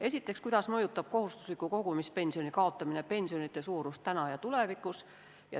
Esiteks, kuidas mõjutab kohustusliku kogumispensioni kaotamine pensionide suurust täna ja tulevikus.